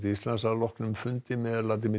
Íslands að loknum fundi með